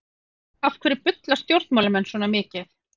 Af hverju bulla stjórnmálamenn svona mikið?